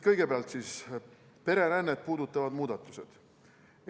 Kõigepealt pererännet puudutavad muudatused.